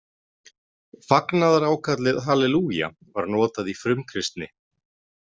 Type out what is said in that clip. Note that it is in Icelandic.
Fagnaðarákallið halelúja var notað í frumkristni.